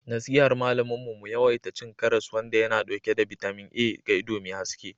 nasihar malamin mu mu yawaita cin karas wanda yana dauke da bitamin A ga ido mai haske